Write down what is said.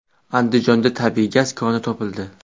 Andijonda tabiiy gaz koni topildi.